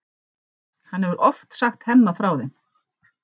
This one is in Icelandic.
Hann hefur oft sagt Hemma frá þeim.